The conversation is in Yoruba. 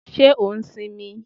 Ṣé o ṣì ń mí?